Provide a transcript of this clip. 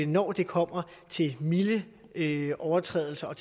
når det kommer til milde overtrædelser